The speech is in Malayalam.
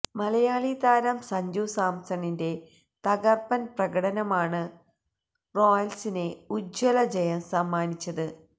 മലയാളി താരം സഞ്ജു സാംസണിന്റെ തകര്പ്പന് പ്രകടനമാണ് റോയല്സിന് ഉജ്ജ്വല ജയം സമ്മാനിച്ചത്